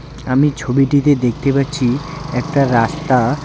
আমি ছবিটিতে দেখতে পাচ্ছি একটা রাস্তা।